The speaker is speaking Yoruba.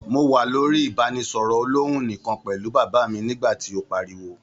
Mo wà lórí ibanisọrọ olòhùn nikan pẹlu bàbá mi nígbà tí o páríwó.